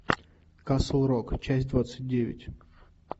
касл рок часть двадцать девять